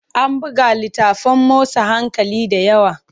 An buga littafin motsa hankali da yawa.